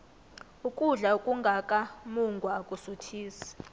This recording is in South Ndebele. ukudla okungaka mungwa akusuthisi